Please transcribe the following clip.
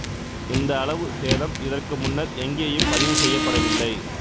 இந்த அளவு சேதம் இதற்கு முன்னர் எங்கேயும் பதிவு செய்யப்படவில்லை